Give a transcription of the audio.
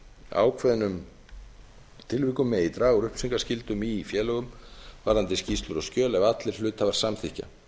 ákveðnum tilvikum megi draga úr upplýsingaskyldum í félögum varðandi skýrslur og skjöl ef allir hluthafar samþykkja